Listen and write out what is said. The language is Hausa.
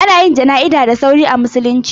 Ana yin jana'iza da sauri a musulunci.